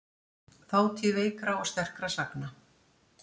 Þátíð veikra og sterkra sagna.